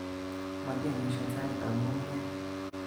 Matiomishen sanitab ngungunyek